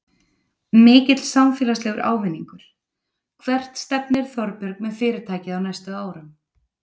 Mikill samfélagslegur ávinningur Hvert stefnir Þorbjörg með fyrirtækið á næstu árum?